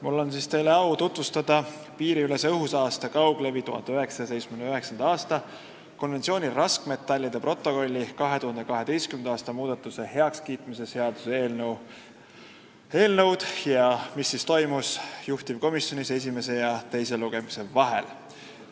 Mul on au teile tutvustada piiriülese õhusaaste kauglevi 1979. aasta konventsiooni raskmetallide protokolli 2012. aasta muudatuste heakskiitmise seaduse eelnõu ning seda, mis toimus juhtivkomisjonis esimese ja teise lugemise vahel.